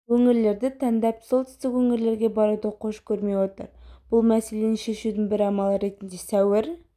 өңірлерді таңдап солтүстік өңірлерге баруды қош көрмей отыр бұл мәселені шешудің бір амалы ретінде сәуір